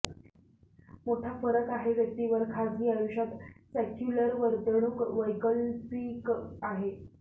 मोठा फरक आहे व्यक्तीवर खाजगी आयुष्यात सेक्युलर वर्तणूक वैकल्पिक आहे